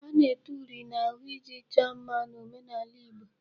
A na-ete uri n'ahụ iji chọọ mma n'omenaala Igbo.